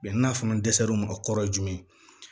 n'a fana dɛsɛr'u ma kɔrɔ ye jumɛn ye